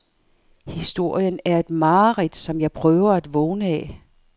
Historien er et mareridt, som jeg prøver at vågne af.